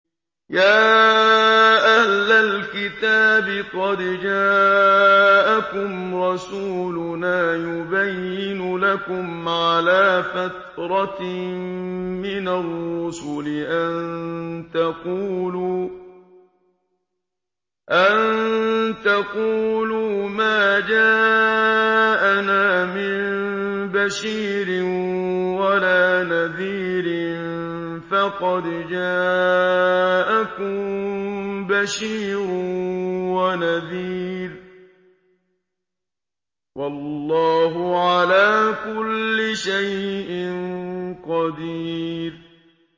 يَا أَهْلَ الْكِتَابِ قَدْ جَاءَكُمْ رَسُولُنَا يُبَيِّنُ لَكُمْ عَلَىٰ فَتْرَةٍ مِّنَ الرُّسُلِ أَن تَقُولُوا مَا جَاءَنَا مِن بَشِيرٍ وَلَا نَذِيرٍ ۖ فَقَدْ جَاءَكُم بَشِيرٌ وَنَذِيرٌ ۗ وَاللَّهُ عَلَىٰ كُلِّ شَيْءٍ قَدِيرٌ